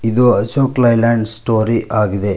ಇದು Ashok Leyland story ಆಗಿದೆ.